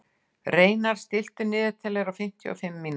Reynarð, stilltu niðurteljara á fimmtíu og fimm mínútur.